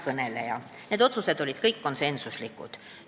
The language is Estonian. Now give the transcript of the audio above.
Need otsused olid kõik konsensuslikud.